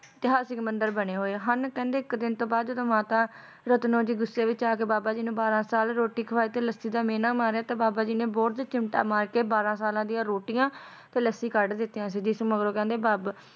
ਇਤਿਹਾਸਿਕ ਮੰਦਿਰ ਬਣੇ ਹੋਏ ਨੇ ਤੇ ਕਹਿੰਦੇ ਇੱਕ ਦਿਨ ਤੋਂ ਬਾਅਦ ਜਦੋ ਮਾਤਾ ਰਤਨੋ ਜੀ ਗੁੱਸੇ ਵਿੱਚ ਆਕੇ ਬਾਬਾ ਜੀ ਨੂੰ ਬਾਰਾਂ ਸਾਲ ਰੋਟੀ ਖਵਾਈ ਤੇ ਲੱਸੀ ਦਾ ਮਿਹਣਾ ਮਾਰਿਆ ਤਾਂ ਬਾਬਾ ਜੀ ਨੇ ਬੋਹੜ ਤੇ ਚਿਮਟਾ ਮਾਰਕੇ ਬਾਰਾਂ ਸਾਲਾਂ ਦੀਆਂ ਰੋਟੀਆਂ ਤੇ ਲੱਸੀ ਕੱਢ ਦਿੱਤੀਆਂ ਸੀ ਜਿਸ ਮਗਰੋਂ ਕਹਿੰਦੇ ਬਾਬਾ